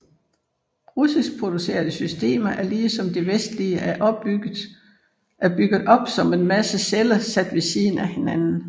Russisk producerede systemer er ligesom de vestlige er bygget op som en masse celler sat ved siden af hinanden